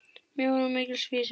Mjór er mikils vísir.